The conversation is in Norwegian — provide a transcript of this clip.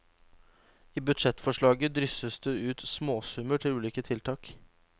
I budsjettforslaget drysses det ut småsummer til ulike tiltak.